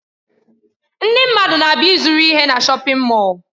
Ndị mmadụ na-abịa ịzụrụ ihe na shọpin Mọll.